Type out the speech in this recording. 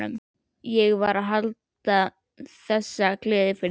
Ég sem var að halda þessa gleði fyrir þig!